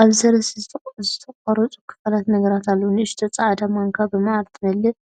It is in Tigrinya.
ኣብዚ ሰለስተ ዝተቖርጹ ክፋላት ነገራት ኣለዉ። ንእሽቶ ጻዕዳ ማንካ ብመዓር ትመልእ።